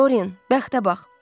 Doryan, bəxtə bax!